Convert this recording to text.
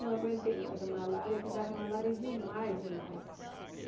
não aguentei mais a malária, que dava malária demais, demais.